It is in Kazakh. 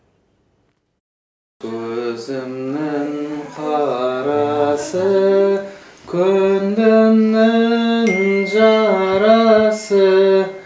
көзімнің қарасы көңілімнің жарасы